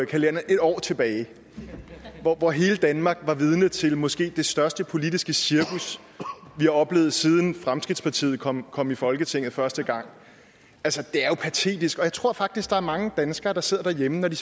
kalenderen et år tilbage hvor hele danmark var vidne til måske det største politiske cirkus vi har oplevet siden fremskridtspartiet kom kom i folketinget første gang altså det er jo patetisk og jeg tror faktisk der er mange danskere der sidder derhjemme når de